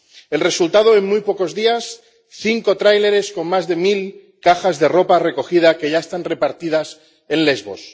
El resultado, en muy pocos días cinco tráileres con más de mil cajas de ropa recogida, que ya están repartidas en Lesbos.